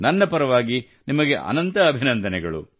ನನ್ನ ಪರವಾಗಿ ನಿಮಗೆ ಅನಂತ ಅಭಿನಂದನೆಗಳು